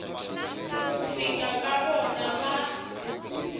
ku fika ka vona va